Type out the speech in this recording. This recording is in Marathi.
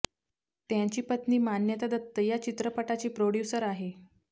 त्यांची पत्नी मान्यता दत्त या चित्रपटाची प्रोड्यूसर आहे